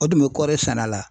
O tun bɛ kɔɔri sɛnɛ la .